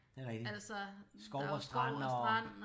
Det er rigtig skov og strand og